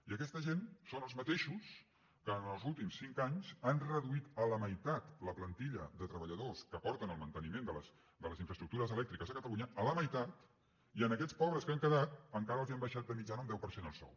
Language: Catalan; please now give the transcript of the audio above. i aquesta gent són els mateixos que en els últims cinc anys han reduït a la meitat la plantilla de treballadors que porten el manteniment de les infraestructures elèctriques a catalunya a la meitat i a aquests pobres que han quedat encara els han baixat de mitjana un deu per cent el sou